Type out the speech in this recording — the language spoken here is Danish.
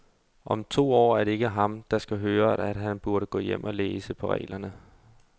Om to år er det ikke ham, der skal høre, at han burde gå hjem og læse på reglerne.